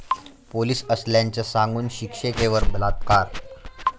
police असल्याचं सांगून शिक्षिकेवर बलात्कार